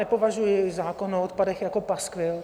Nepovažuji zákon o odpadech jako paskvil.